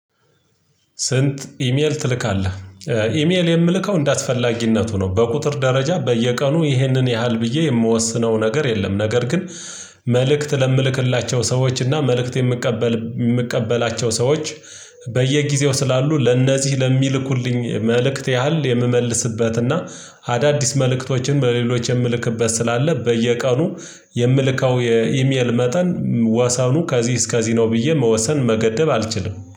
"ስንት ኢሜል ትልካለህ?" ኢሜል የምልከው እንዳስፈላጊነቱ ነው። በቁጥር ደረጃ በየቀኑ ይሄንን ያህል ብዬ የምወስነው ነገር የለም። ነገር ግን መልእክት ለምልክላቸው ሰዎች እና መልእክት የምቀበል የምቀበላቸው ሰዎች በየጊዜው ስላሉ ለነዚህ ለሚልኩልኝ መልእክት ያህል የምመልስበትና አዳዲስ መልእክቶችን በሌሎች የምልክበት ስላለ በየቀኑ የምልከው የኢሜል መጠን ወሰኑ ከዚህ እስከዚህ ነው ብዬ መወሰን መገደብ አልችልም።